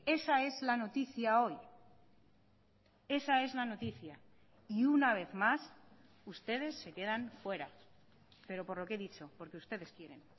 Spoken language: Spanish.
esa es la noticia hoy esa es la noticia y una vez más ustedes se quedan fuera pero por lo que he dicho porque ustedes quieren